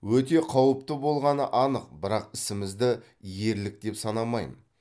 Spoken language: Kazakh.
өте қауіпті болғаны анық бірақ ісімізді ерлік деп санамаймын